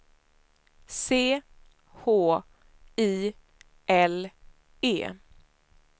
C H I L E